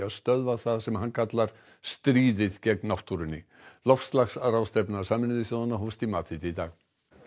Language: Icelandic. að stöðva það sem hann kallar stríðið gegn náttúrunni loftslagsráðstefna Sameinuðu þjóðanna hófst í Madríd í dag